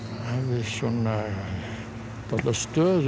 svona dálitla stöðu í